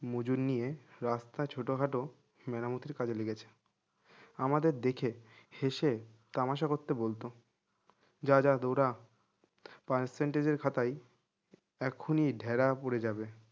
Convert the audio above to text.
মজুর নিয়ে রাস্তা ছোটখাটো মেরামতির কাজে লেগেছে আমাদের দেখে হেঁসে তামাশা করতে বলতো যা যা দৌড়া percentage এর খাতায় এখনি ঢেরা পড়ে যাবে